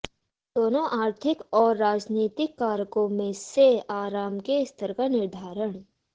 दोनों आर्थिक और राजनीतिक कारकों में से आराम के स्तर का निर्धारण